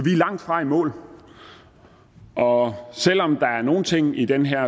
langtfra i mål og selv om der er nogle ting i den her